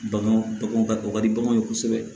Baganw baganw ka kɔkɔ ka di baganw ye kosɛbɛ